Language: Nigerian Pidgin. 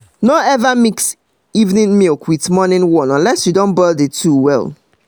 no ever mix evening milk with morning one unless you don boil the two well